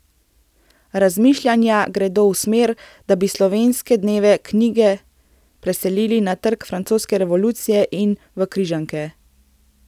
Razmišljanja gredo v smer, da bi Slovenske dneve knjige preselili na Trg francoske revolucije in v Križanke.